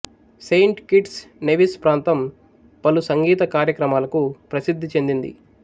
Saint Kitts Nevis ప్రాంతం పలు సంగీత కార్యక్రమాలకు ప్రసిద్ధి చెందింది